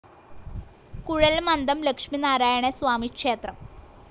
കുഴൽമന്ദം ലക്ഷ്മിനാരായണ സ്വാമി ക്ഷേത്രം